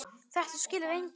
Þetta skilur enginn.